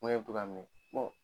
Min bɛ to k'a minɛ